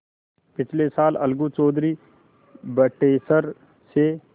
पिछले साल अलगू चौधरी बटेसर से